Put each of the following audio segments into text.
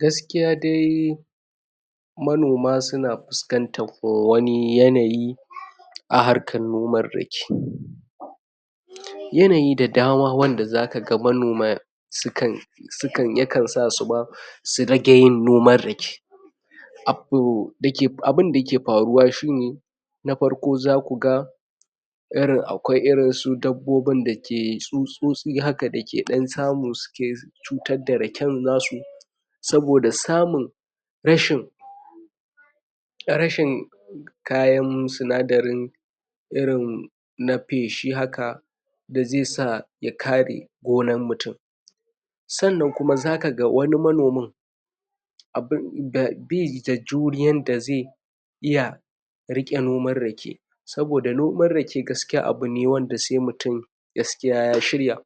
gaskiya dai manoma suna fuskantar wani yanayi a harkan noman rake yanayi da dama wannda zaka ga manoma sukan sukan ya sasu ba su rage nomar rake abu abun da ke faruwa shine na farko zakuga iirin akwai irin su dabbobin dake tsutsotsi haka da ke dan samu suke cutar da raken nasu saboda samun rashin rashin kayan sinadarin irin na feshi haka feshi haka dazai sa ya kare gonan mutum sannan kuma zaka ga wani manomin a bir baida juriyan da zai iya riqe noman rake saboda noman rake gaskiya abu ne sai mutum gaskiya ya shirya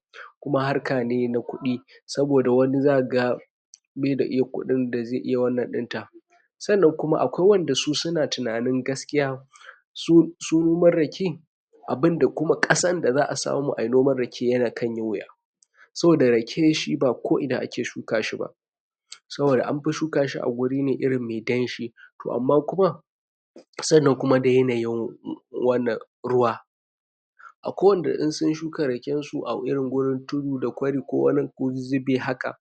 kuma harka ne na kudi saboda wani zaka ga baida eh kudin dazai iya wannan dinta sannan kuma akwai wadan da suke tunanin gaskiya su noman rake abun da kuma kasar a samu ayi noman rake ya kanyi wuya saboda rake shi ba ko ina ake shuka shi ba saboda anfi shuka shi a waje mai damshi to amma kuma sannan kuma da yanayin wannan ruwa akwai wanda in sunshuka raken su ko irin gonar tudu da kwari ko ku zuzubi haka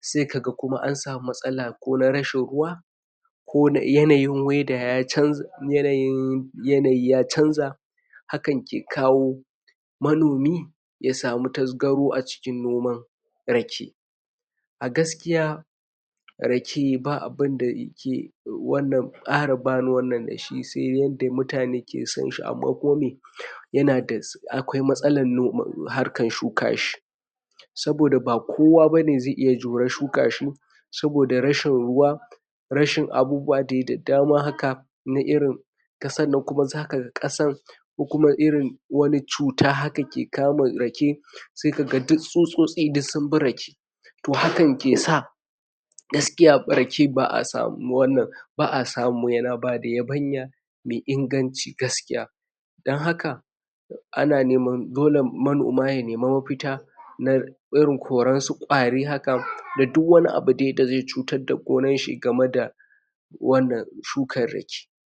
sai kaga ansami matsala ko na rashin ruwa ko yanayi weda ya canja yanayi ya canja hakan ke kawo manomi ya samu tasgaro a cikin noman rake a gaskiya rake ba'a bu abunda da rake wannan kara ba ruwan da shi yanda mutane ke sonshi amma kuman me yana da akwai matsalar harkan shuka shi saboda ba kowa bane zai juri shuka shi saboda rashin ruwa rashin abubwa dea da mana haka na irin kasan nan kuma zaka ga ko kuma irin wani cuta haka kawai ke kama rake sai kaga duk tsutsotsi sunbi rake to hankan ke sa gaskiya rake aba'a samun wannan ba'a samu yana bada yabanya mai inganci gaskiya donhaka ana neman dole manoma ya nema mafita na irin korar su gwari haka da duk wani abu da zai cutar da gonar shi game da wannan shukar rake